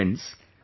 Friends,